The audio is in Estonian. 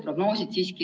Aitäh küsimuse eest!